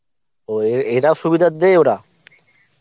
ও এ~ এরা সুবিধার দেয় ওরা